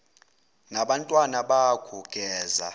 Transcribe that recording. nabantwana bakho geza